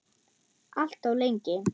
Alltof lengi.